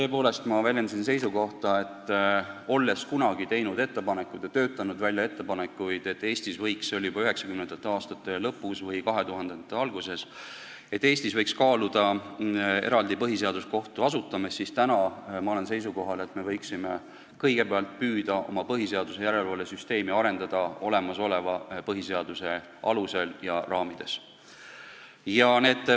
Tõepoolest, ma väljendasin seisukohta, et olles kunagi töötanud välja ettepanekuid – see oli 1990. aastate lõpus või 2000-ndate alguses –, et Eestis võiks kaaluda eraldi põhiseaduskohtu asutamist, olen ma täna seisukohal, et me võiksime kõigepealt püüda oma põhiseaduslikkuse järelevalve süsteemi arendada olemasoleva põhiseaduse alusel ja raamides.